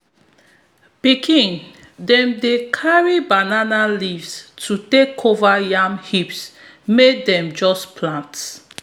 pikin dem dey carry banana leaves to take cover yam heaps wey dem just plant